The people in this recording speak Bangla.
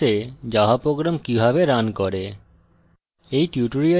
eclipse a java program কিভাবে রান করে